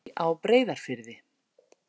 Hvítabjarnarey á Breiðafirði.